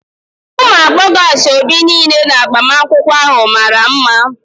Ụmụ agbọghọ asaobi niile na agbamakwụkwọ ahụ mara mma.